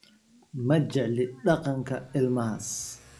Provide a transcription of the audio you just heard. Ma jecli dhaqanka ilmahaas